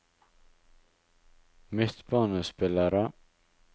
midtbanespillere